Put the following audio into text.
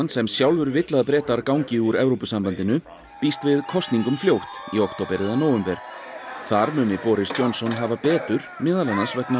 sem sjálfur vill að Bretar gangi úr Evrópusambandinu býst við kosningum fljótt í október eða nóvember þar muni Boris Johnson hafa betur meðal annars vegna